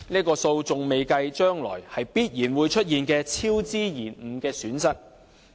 這數字還未計算將來必然會出現的超支延誤損失。